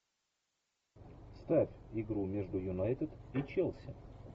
ставь игру между юнайтед и челси